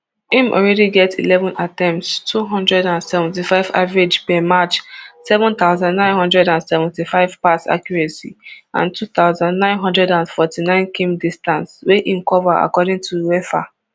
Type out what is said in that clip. im already get eleven attempts two hundred and seventy-five average per match seven thousand, nine hundred and seventy-five pass accuracy and two thousand, nine hundred and forty-ninekm distance wia im cover according to uefa